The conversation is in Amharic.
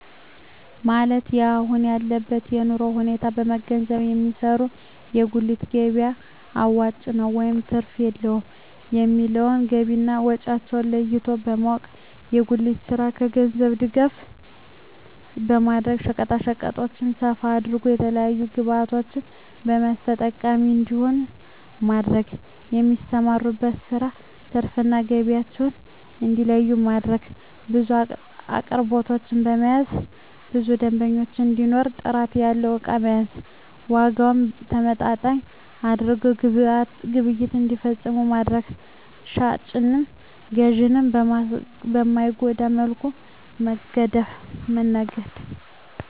ማለት የአሁን ያለበትን የኑሮ ሁኔታ በመንገዘብ የሚሰሩት የጉሊት ገቢያ አዋጭ ነው ወይስ ትርፍ የለውም የሚለውን ገቢና ወጫቸውን ለይቶ በማወቅ። የጉሊቱን ስራ የገንዘብ ድጋፍ በማድረግ ሸቀጣሸቀጡን ሰፋ አድርገው የተለያዪ ግብዕቶችን በመያዝ ተጠቃሚ እንዲሆኑ ማድረግ። የሚሰሩበትን ስራ ትርፍ እና ገቢያቸውን እንዲለዪ ማድረግ። ብዙ አቅርቦቶችን በመያዝ ብዙ ደንበኛ እንዲኖር ጥራት ያለው እቃ መያዝ። ዋጋውን ተመጣጣኝ አድርገው ግብይት እንዲፈፅሙ ማድረግ። ሻጭንም ገዢንም በማይጎዳ መልኩ መነገድ